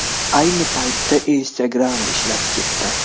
Ayni paytda Instagram ishlab ketdi.